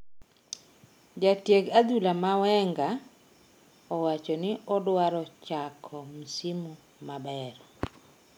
Jatieg adhula ma Wenger owachoni odwaro chako msimu maber